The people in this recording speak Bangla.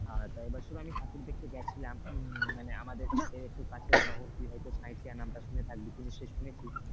এই বছর আমি ঠাকুর দেখতে গেছিলাম মানে আমাদের আমাদের একটু কাছে শহর মানে তুই হয়তো সাঁইথিয়া নামটা শুনে থাকবি, তুই নিশ্চয়ই শুনেছিস?